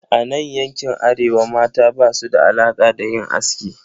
A nan yankin Arewa, mata basu da alaka da yin aski.